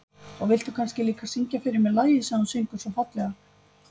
Og viltu kannski líka syngja fyrir mig lagið sem þú syngur svo fallega.